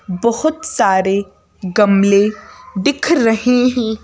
बहुत सारे गमले दिख रहे हैं।